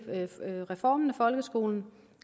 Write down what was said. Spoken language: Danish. reformen af folkeskolen